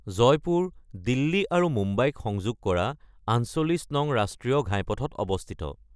জয়পুৰ দিল্লী আৰু মুম্বাইক সংযোগ কৰা ৪৮ নং ৰাষ্ট্ৰীয় ঘাইপথত অৱস্থিত।